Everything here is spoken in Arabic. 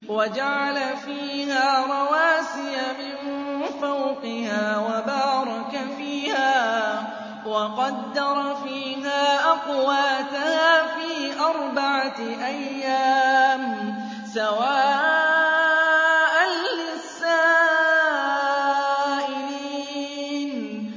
وَجَعَلَ فِيهَا رَوَاسِيَ مِن فَوْقِهَا وَبَارَكَ فِيهَا وَقَدَّرَ فِيهَا أَقْوَاتَهَا فِي أَرْبَعَةِ أَيَّامٍ سَوَاءً لِّلسَّائِلِينَ